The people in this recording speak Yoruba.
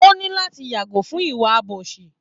O ní láti yàgò fún ìwà àbòsí